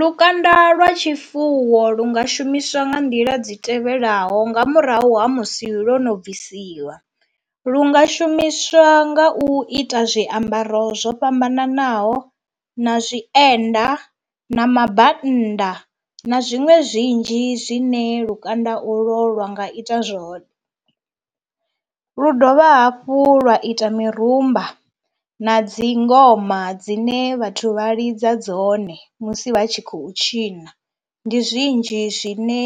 Lukanda lwa tshifuwo lu nga shumiswa nga nḓila dzi tevhelaho nga murahu ha musi ḽo no bvisiwa, lu nga shumiswa nga u ita zwiambaro zwo fhambananaho na zwienda na mabannda na zwiṅwe zwinzhi zwine lukanda u lwo lwa nga ita zwone, lu dovha hafhu lwa ita mirumba na dzi ngoma dzine vhathu vha lidza dzone musi vha tshi khou tshina. Ndi zwinzhi zwine